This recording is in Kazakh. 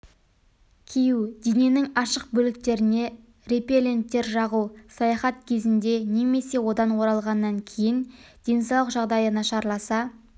кию дененің ашық бөліктеріне репелленттер жағу саяхат кезінде немесе одан оралғаннан кейін денсаулық жағдайы нашарласа